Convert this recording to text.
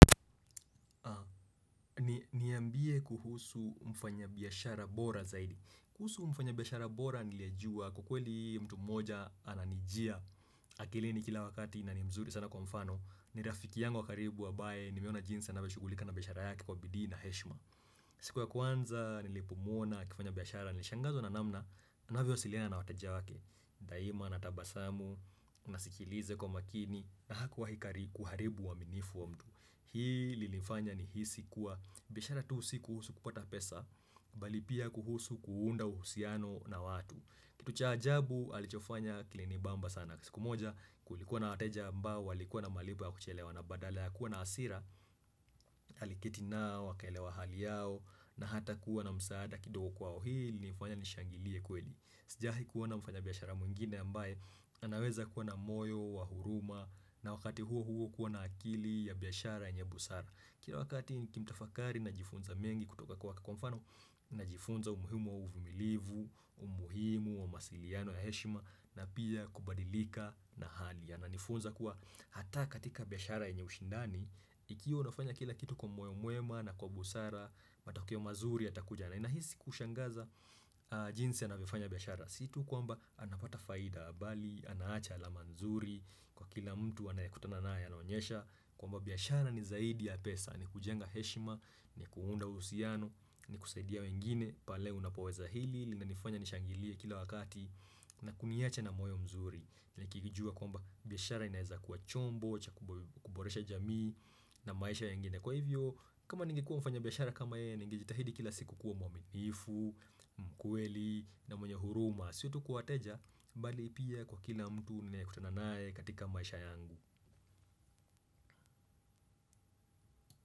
Niambie kuhusu mfanya biyashara bora zaidi kuhusu mfanya biyashara bora nilijuwa ukweli mtu moja ananijia akilini kila wakati na ni mzuri sana kwa mfano, ni rafiki yangu wa karibu abaye nimeona jinsi avyo shugulika na biyashara yake kwa bidii na heshima siku ya kwanza nilipomuona akifanya biyashara nilishangazwa na namna anavyo asiliana na wateja wake Daima natabasamu, nasikilize kwa makini na hakuwa hikari kuharibu wa minifu wa mtu Hii li nifanya ni hisi kuwa biashara tuu si kuhusu kupata pesa Balipia kuhusu kuunda uhusiano na watu Kitu cha ajabu alichofanya kilinibamba sana siku moja kulikuwa na wateja ambao walikuwa na malipo ya kuchelewa na badala ya kuwa na asira Aliketi nao akaelewa hali yao na hata kuwa na msaada kidogo kwao Hii li nifanya nishangilie kweli Sijahi kuwa na mfanya biashara mwingine ambaye anaweza kuwa na moyo wa huruma na wakati huo huo kuwa na akili ya biashara yenye busara Kila wakati nikimtafakari na jifunza mengi kutoka kwake kwa mfano na jifunza umuhimu wa uvumilivu, umuhimu wa masiliano ya heshima na pia kubadilika na hali Ananifunza kuwa hata katika biashara yenye ushindani Ikiwa unafanya kila kitu kwa moyo mwema na kwa busara matokeo mazuri ya takuja na inahisi kushangaza jinsi anavyofanya biashara Situ kwa mba anapata faida bali, anaacha ala manzuri, kwa kila mtu anayekutana naye anaonyesha Kwa mba biashara ni zaidi ya pesa, ni kujenga heshima, ni kuunda uhusiano, ni kusaidia wengine pale unapoweza hili, lina nifanya nishangilie kila wakati, na kuniacha na moyo mzuri ni kijua kwa mba biashara inaiza kuwa chombo, kuboresha jamii, na maisha yangine Kwa hivyo, kama ningekuwa mfanya biyashara kama ye, ninge jitahidi kila siku kuwa mwaminifu, mkweli, na mwenye huruma Siotu kwawateja, bali pia kwa kila mtu ninayekutananaye katika maisha yangu.